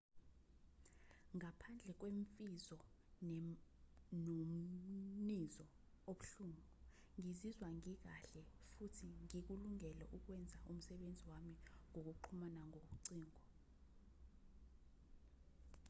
ngaphandle kwemfiva nomminzo obuhlungu ngizizwa ngikahle futhi ngikulungele ukwenza umsebenzi wami ngokuxhumana ngocingo